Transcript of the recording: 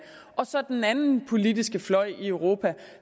så den anden politiske fløj i europa